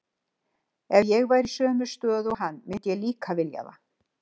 Ef ég væri í sömu stöðu og hann myndi ég líka vilja það.